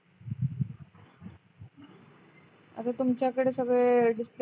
अरे तुमच्याकडे सगळे disturb